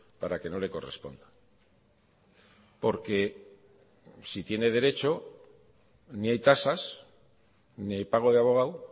para que no le corresponda porque si tiene derecho ni hay tasas ni hay pago de abogado